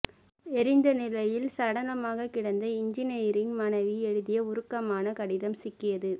எரிந்த நிலையில் சடலமாக கிடந்த இன்ஜினியரிங் மாணவி எழுதிய உருக்கமான கடிதம் சிக்கியது